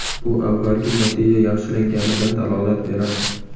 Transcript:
Bu avvalgi natija yaxshilanganidan dalolat beradi.